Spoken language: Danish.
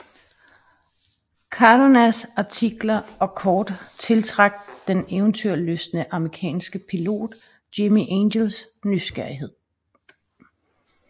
Cardonas artikler og kort tiltrak den eventyrlystne amerikanske pilot Jimmie Angels nysgerrighed